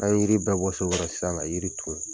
N'an ye yiri bɛ bɔ so kɔrɔ sisan la yiri ton